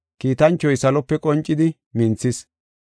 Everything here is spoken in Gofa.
Kiitanchoy salope qoncidi minthis.